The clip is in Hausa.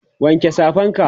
wanke Safan ka!